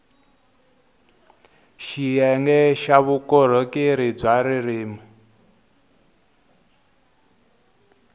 xiyenge xa vukorhokeri bya ririrmi